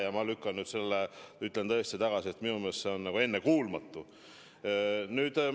Ja ma lükkan nüüd selle tõesti tagasi, minu meelest see on nagu ennekuulmatu.